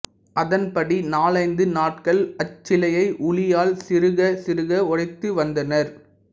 அதன்படி நாலைந்து நாட்கள் அச்சிலையை உளியால் சிறுகச் சிறுக உடைத்து வந்தனர்